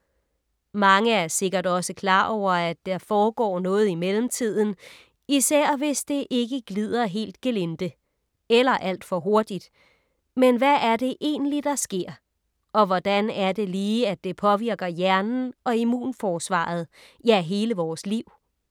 Mange er sikkert også klar over, at der foregår noget i mellemtiden, især hvis det ikke glider helt gelinde. Eller alt for hurtigt! Men hvad er det egentlig, der sker? Og hvordan er det lige, at det påvirker hjernen og immunforsvaret. Ja, hele vores liv?